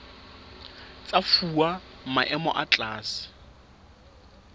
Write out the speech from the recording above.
tsa fuwa maemo a tlase